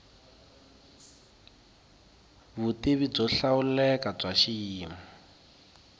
vutivi byo hlawuleka bya xiyimo